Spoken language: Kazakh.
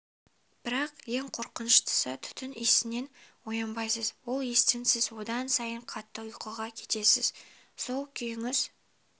бірақ ең қорқыныштысы түтін иісінен оянбайсыз ол иістен сіз одан сайын қатты ұйқыға кетесіз сол күйіңіз